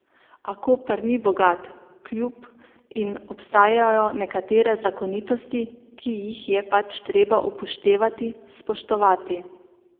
A Koper ni bogat klub in obstajajo nekatere zakonitosti, ki jih je pač treba upoštevati, spoštovati.